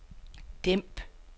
dæmp